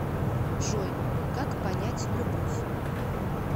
джой как понять любовь